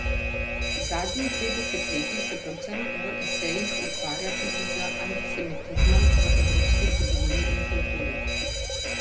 Zadnji dve desetletji se predvsem v esejih ukvarja tudi z antisemitizmom v evropski zgodovini in kulturi.